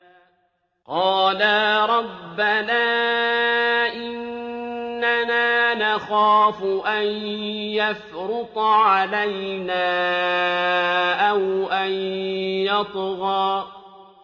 قَالَا رَبَّنَا إِنَّنَا نَخَافُ أَن يَفْرُطَ عَلَيْنَا أَوْ أَن يَطْغَىٰ